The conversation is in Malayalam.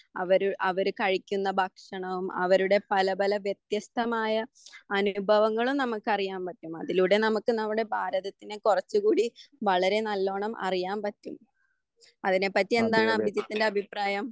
അവരു അവര് കഴിക്കുന്ന ഭക്ഷണം അവരുടെ പല പല വ്യത്യസ്തമായ അനുഭവങ്ങളും നമ്മൾക്കറിയാൻ പറ്റും. അതിലൂടെ നമുക്ക് നമ്മുടെ ഭാരതത്തിനെ കുറച്ചു കൂടി വളരെ നല്ലോണം അറിയാൻ പറ്റും. അതിനെ പറ്റി എന്താണ് അഭിജിത്തിന്റെ അഭിപ്രായം?